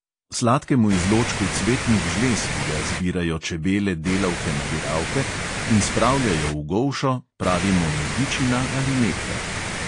Sladkemu izločku cvetnih žlez, ki ga zbirajo čebele delavke-nabiralke in spravljajo v golšo, pravimo medičina ali nektar.